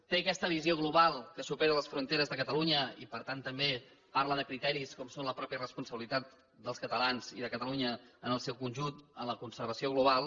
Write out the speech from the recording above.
té aquesta visió global que supera les fronteres de catalunya i per tant també parla de criteris com són la mateixa responsabilitat dels catalans i de catalunya en el seu conjunt en la conservació global